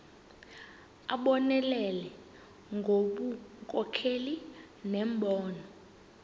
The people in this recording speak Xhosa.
abonelele ngobunkokheli nembono